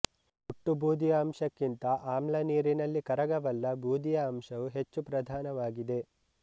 ಒಟ್ಟು ಬೂದಿಯ ಅಂಶಕ್ಕಿಂತ ಆಮ್ಲನೀರಿನಲ್ಲಿ ಕರಗಬಲ್ಲ ಬೂದಿಯ ಅಂಶವು ಹೆಚ್ಚು ಪ್ರಧಾನವಾಗಿದೆ